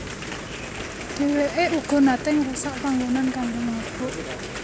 Dheweke uga nate ngrusak panggonan kanggo mabok